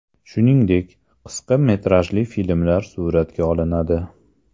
Shuningdek, qisqa metrajli filmlar suratga olinadi.